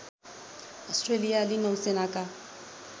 अस्ट्रेलियाली नौसेनाका